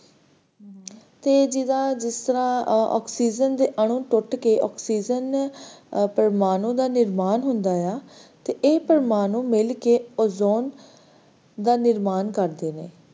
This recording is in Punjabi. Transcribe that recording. ਤੇ ਜਦੋ ਇਸ ਤਰ੍ਹਾਂ oxygen ਦੇ ਆਨੁ ਟੁੱਟ ਕੇ oxygen ਪ੍ਰਮਾਣੂ ਦਾ ਨਿਰਮਾਣ ਹੁੰਦਾ ਆ ਤੇ ਇਹ ਪ੍ਰਮਾਣੂ ਮਿਲ ਕੇ ozone ਦਾ ਨਿਰਮਾਣ ਕਰਦੇ ਨੇ